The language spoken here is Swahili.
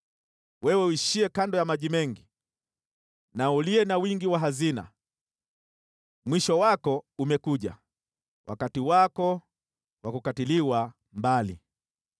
Wewe uishiye kando ya maji mengi na uliye na wingi wa hazina, mwisho wako umekuja, wakati wako wa kukatiliwa mbali.